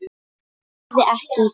Ég heyrði ekki í þér.